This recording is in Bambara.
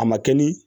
A ma kɛ ni